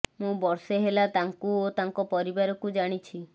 ମୁଁ ବର୍ଷେ ହେଲା ତାଙ୍କୁ ଓ ତାଙ୍କ ପରିବାକୁ ଜାଣିଛି